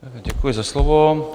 Děkuji za slovo.